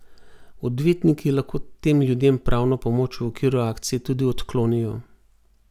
Odvetniki lahko tem ljudem pravno pomoč v okviru akcije tudi odklonijo.